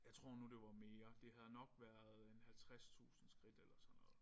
Jeg tror nu det var mere. Det havde nok været en 50000 skridt eller sådan noget